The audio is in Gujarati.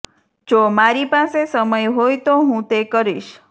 જો મારી પાસે સમય હોય તો હું તે કરીશ